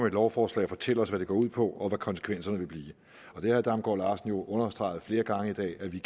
et lovforslag at fortælle os hvad det går ud på og hvad konsekvenserne vil blive og herre damgaard larsen har jo understreget flere gange i dag at vi